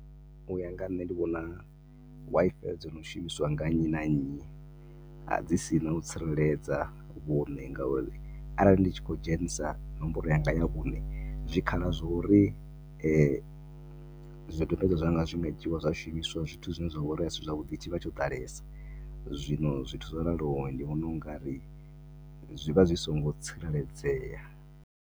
Uya nga nne ndi vhona Wi-Fi dzo no shumisiwa nga nnyi na nnyi dzi sina u tsireledza vho nne nga uri a rali ndi khou dzhenisa nomboro ya nga ya zwikhala zwa u ri zwi dzhiwe zwa shumiswa zwithu zwi ne zwa vhori a si zwavhuḓi tshi vha tsho ḓalesa, zwino zwithu zwo raliho ndi vhona ungari zwi vha zwi songo tsireledzea.